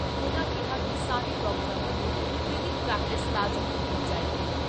ਉਨ੍ਹਾਂ ਕਿਹਾ ਕਿ ਸਾਰੇ ਡਾਕਟਰਾਂ ਵੱਲੋਂ ਕਲੀਨਿਕ ਪ੍ਰੈਕਟਿਸ ਲਾਜ਼ਮੀ ਕੀਤੀ ਜਾਏਗੀ।